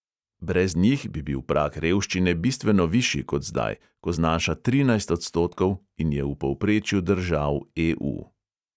Brez njih bi bil prag revščine bistveno višji kot zdaj, ko znaša trinajst odstotkov in je v povprečju držav EU.